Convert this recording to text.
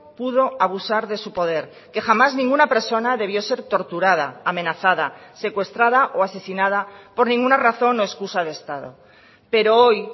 pudo abusar de su poder que jamás ninguna persona debió ser torturada amenazada secuestrada o asesinada por ninguna razón o excusa de estado pero hoy